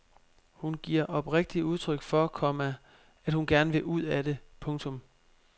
Hun giver oprigtigt udtryk for, komma at hun gerne vil ud af det. punktum